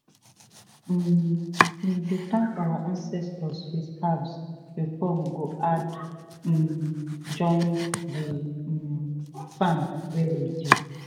um we dey thank our ancestors with herbs before we go add um join the um farm wey dey.